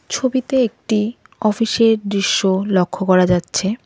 ছবিতে একটি অফিস -এর দৃশ্য লক্ষ করা যাচ্ছে।